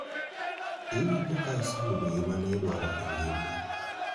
iwinjo ka iseyudo gima ne idwaro engima?